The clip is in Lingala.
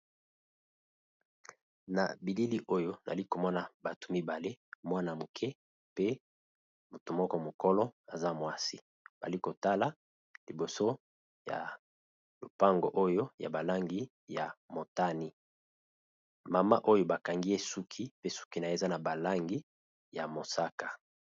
na bilili oyo nali komona bato mibale mwana moke pe moto moko mokolo aza mwasi bali kotala liboso ya lopango oyo ya balangi ya motani. mama oyo bakangi esuki pe suki nayi eza na balangi ya mosaka